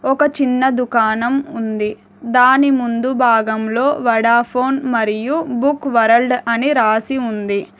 ఒక చిన్న దుకాణం ఉంది దాని ముందు భాగంలో వోడాఫోన్ మరియు బుక్ వరల్డ్ అని రాసి ఉంది.